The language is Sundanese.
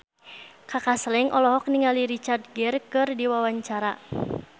Kaka Slank olohok ningali Richard Gere keur diwawancara